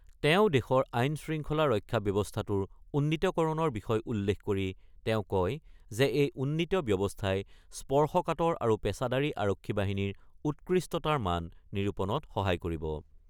তেওঁ দেশৰ আইন-শৃংখলা ৰক্ষা ব্যৱস্থাটোৰ উন্নীতকৰণৰ বিষয় উল্লেখ কৰি তেওঁ কয় যে এই উন্নীত ব্যৱস্থাই স্পৰ্শকাতৰ আৰু পেছাদাৰী আৰক্ষী বাহিনীৰ উৎকৃষ্টতাৰ মান নিৰূপণত সহায় কৰিব।